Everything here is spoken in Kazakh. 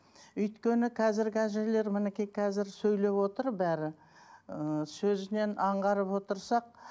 өйткені қазіргі әжелер мінекей қазір сөйлеп отыр бәрі ііі сөзінен аңғарып отырсақ